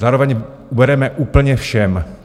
Zároveň ubereme úplně všem.